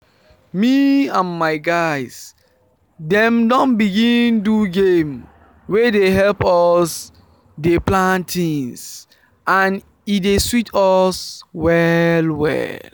me and my guys dem don begin do game wey dey help us dey plan things and e dey sweet us well well